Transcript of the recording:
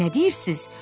Nə deyirsiz?